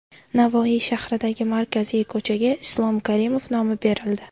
Navoiy shahridagi markaziy ko‘chaga Islom Karimov nomi berildi.